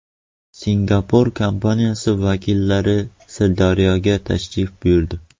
Singapur kompaniyasi vakillari Sirdaryoga tashrif buyurdi.